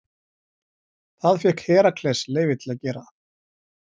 Það fékk Herakles leyfi til að gera.